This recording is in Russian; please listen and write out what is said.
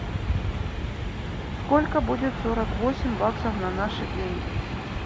сколько будет сорок восемь баксов на наши деньги